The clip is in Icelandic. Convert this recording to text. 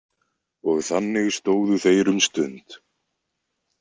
Og þannig stóðu þeir um stund.